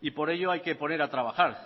y por ello hay que poner a trabajar